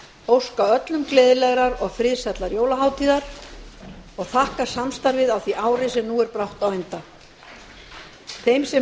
óska öllu gleðilegrar og friðsællar jólahátíðar og þakka samstarfið á því ári sem nú er brátt á enda þeim sem